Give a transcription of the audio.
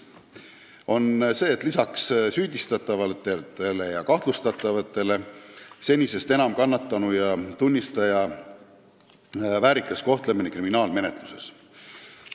See on see, et lisaks süüdistatavatele ja kahtlustatavatele tuleb senisest enam tähelepanu pöörata kannatanu ja tunnistaja väärikale kohtlemisele kriminaalmenetluses.